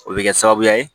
O bɛ kɛ sababu ye